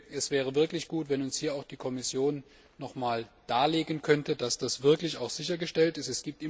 Es wäre wirklich gut, wenn uns hier die Kommission nochmals darlegen könnte, dass das auch wirklich sichergestellt ist.